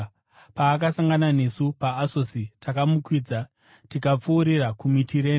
Paakasangana nesu paAsosi, takamukwidza tikapfuurira kuMitirene.